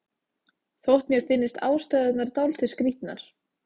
Þótt mér finnist ástæðurnar dálítið skrítnar.